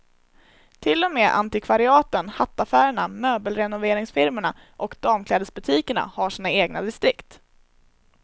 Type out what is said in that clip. Till och med antikvariaten, hattaffärerna, möbelrenoveringsfirmorna och damklädesbutikerna har sina egna distrikt.